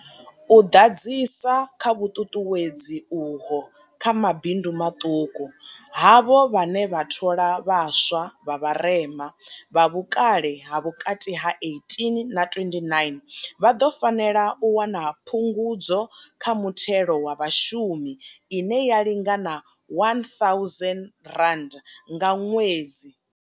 U ḓadzisa kha vhuṱuṱuwedzi uho kha mabindu maṱuku, havho vhane vha thola vha swa vha vharema, vha vhukale ha vhukati ha 18 na 29, vha ḓo fanela u wana phungudzo kha muthelo wa Vhashumi ine ya lingana R1000 nga ṅwedzi.